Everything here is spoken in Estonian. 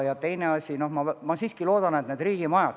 Ja teine asi, ma siiski loodan, on riigimajad.